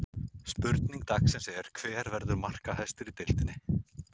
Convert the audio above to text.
Spurning dagsins er: Hver verður markahæstur í deildinni?